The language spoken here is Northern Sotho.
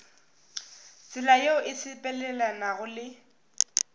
tsela yeo e sepelelanago le